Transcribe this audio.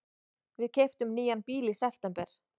Við keyptum nýjan bíl í september.